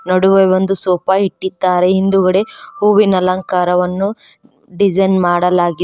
ನಡುವೆ ಒಂದು ಸೋಫಾ ಇಟ್ಟಿದ್ದಾರೆ ಹಿಂದುಗಡೆ ಹೂವಿನ ಅಲಂಕಾರವನ್ನು ಡಿಸೈನ್ ಮಾಡಲಾಗಿದೆ.